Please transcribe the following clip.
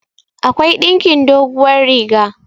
akwai ɗinkin doguwar riga